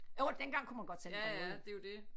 Jo dengang kunne man godt sende breve jo